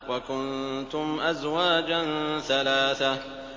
وَكُنتُمْ أَزْوَاجًا ثَلَاثَةً